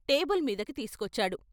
Table మీదకి తీసుకొచ్చాడు.